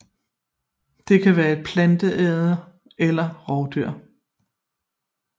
Det kan være planteædere eller rovdyr